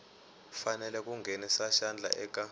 fanele ku nghenisa xandla eka